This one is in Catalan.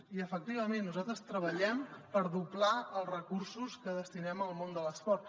i efectivament nosaltres treballem per doblar els recursos que destinem al món de l’esport